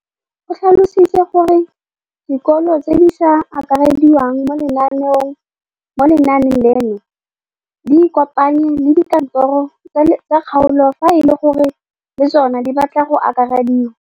O tlhalositse gore dikolo tse di sa akarediwang mo lenaaneng leno di ikopanye le dikantoro tsa kgaolo fa e le gore le tsona di batla go akarediwa.